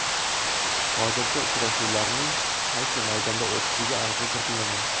Hozircha uchrashuvlarning qaysi maydonda o‘tishiga aniqlik kiritilmagan.